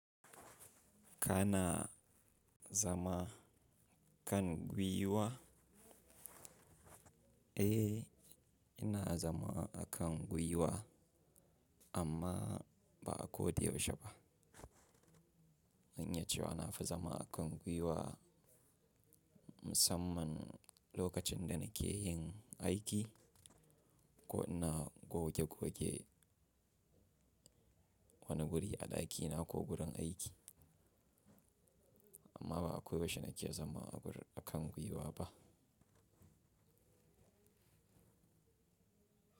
Kana zama kan guiwa. Eh, ina zama a kan guiwa amma ba a ko da yaushe ba. Zanyan cewa na fi zama a kan guiwa musamman lokacin da nake yin aiki ko ina goge goge wani guri a ɗaki na ko wurin aiki, amma ba akwai washe nake zama a kan guiwa ba.